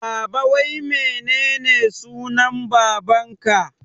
Baba wai menene sunan baban ka?